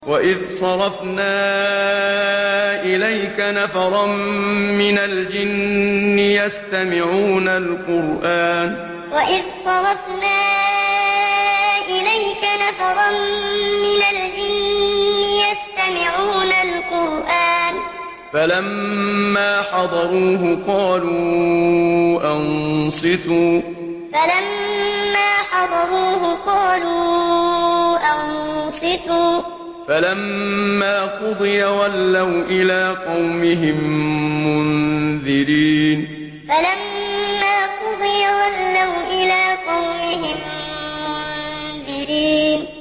وَإِذْ صَرَفْنَا إِلَيْكَ نَفَرًا مِّنَ الْجِنِّ يَسْتَمِعُونَ الْقُرْآنَ فَلَمَّا حَضَرُوهُ قَالُوا أَنصِتُوا ۖ فَلَمَّا قُضِيَ وَلَّوْا إِلَىٰ قَوْمِهِم مُّنذِرِينَ وَإِذْ صَرَفْنَا إِلَيْكَ نَفَرًا مِّنَ الْجِنِّ يَسْتَمِعُونَ الْقُرْآنَ فَلَمَّا حَضَرُوهُ قَالُوا أَنصِتُوا ۖ فَلَمَّا قُضِيَ وَلَّوْا إِلَىٰ قَوْمِهِم مُّنذِرِينَ